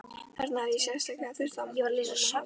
Þarna hefði ég sárlega þurft á Mumma að halda, en